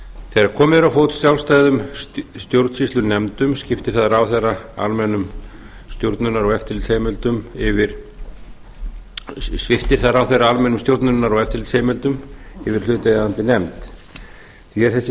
þegar komið er á fót sjálfstæðum stjórnsýslunefndum sviptir það ráðherra almennum stjórnunar og eftirlitsheimildum yfir hlutaðeigandi nefnd hér er þessi